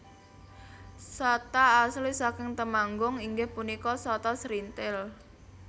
Sata asli saking Temanggung inggih punika sata srinthil